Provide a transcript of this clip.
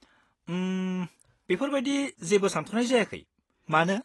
उम, बेफोर बायदि जेबो सान्थ'नाय जायाखै, मानो?